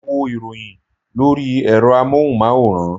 Mo ń wo ìròyìn lórí ẹ̀rọ amóhùnmáwòrán